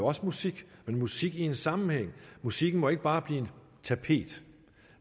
også musik men musik i en sammenhæng musikken må ikke bare blive et tapet